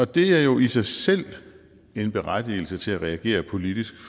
det er jo i sig selv en berettigelse til at reagere politisk